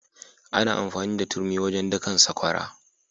Ana amfani da turmi wajen dakan sakwara.